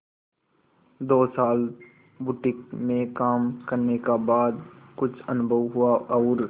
दो साल बुटीक में काम करने का बाद कुछ अनुभव हुआ और